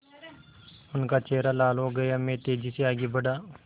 उनका चेहरा लाल हो गया मैं तेज़ी से आगे बढ़ा